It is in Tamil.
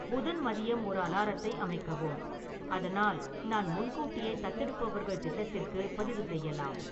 புதன் மதியம் ஒரு அலாரத்தை அமைக்கவும், அதனால் நான் முன்கூட்டியே தத்தெடுப்பவர்கள் திட்டத்திற்கு பதிவு செய்யலாம்